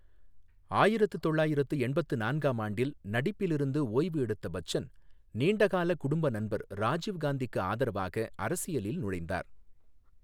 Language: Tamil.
ஆயிரத்து தொள்ளாயிரத்து எண்பத்து நான்காம் ஆண்டில், நடிப்பிலிருந்து ஓய்வு எடுத்த பச்சன், நீண்ட கால குடும்ப நண்பர் ராஜீவ் காந்திக்கு ஆதரவாக அரசியலில் நுழைந்தார்.